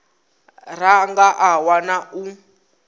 ra nga a wana u